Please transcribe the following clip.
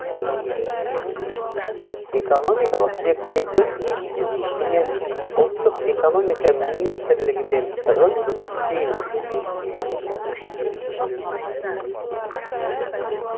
экономикалық зерттеулер институтымен ұлттық экономика министрлігімен тығыз жұмыс істейміз